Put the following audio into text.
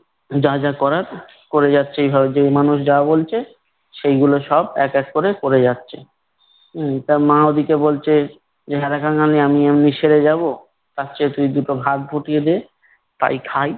যা যা করার করে যাচ্ছে। এইভাবে যে মানুষ যা বলছে সেইগুলো সব এক এক করে করে যাচ্ছে। উম তার মা ওদিকে বলছে যে, হ্যারে কাঙালি আমি এমনেই সেরে যাব? তার চেয়ে তুই দুটো ভাত ফুটিয়ে দে তাই খাই।